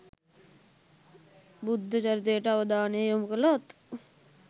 බුද්ධ චරිතයට අවධානය යොමු කළොත්